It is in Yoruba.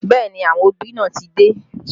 Bẹẹ ni, àwọn òbí náà ti dé